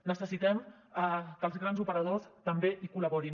necessitem que els grans operadors també hi col·laborin